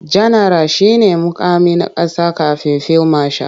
Janaral shi ne muƙami na ƙasa kafin fil mashal.